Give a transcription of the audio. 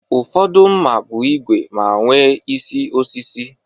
Ụfọdụ mma bụ ígwè ma nwe isi osisi